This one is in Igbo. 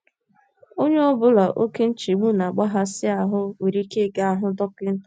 Onye ọ bụla oké nchegbu na - akpaghasị ahụ́ nwere ike ịga hụ dọkịta.